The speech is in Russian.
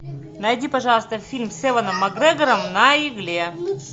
найди пожалуйста фильм с эваном макгрегором на игле